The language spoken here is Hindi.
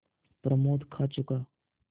प्रमोद खा चुका